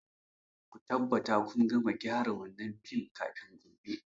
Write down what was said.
Ku tabbata kun gama gyara wannan fim kafin gobe.